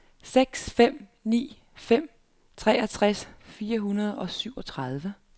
seks fem ni fem treogtres fire hundrede og syvogtredive